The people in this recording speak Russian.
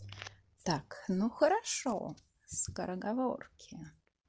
так ну хорошо скороговорки